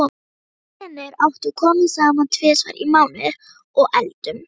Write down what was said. Við vinirnir átta komum saman tvisvar í mánuði og eldum.